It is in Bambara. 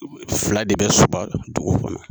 Fila de bɛ Soba dugu kɔnɔ